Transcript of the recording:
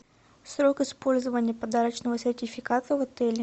срок использования подарочного сертификата в отеле